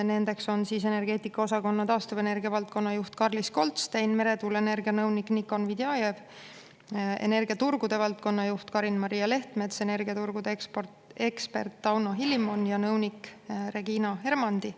Nendeks on energeetikaosakonna taastuvenergia valdkonnajuht Karlis Goldstein, meretuuleenergia nõunik Nikon Vidjajev, energiaturgude valdkonnajuht Karin Maria Lehtmets, energiaturgude ekspert Tauno Hilimon ja nõunik Regina Hermandi.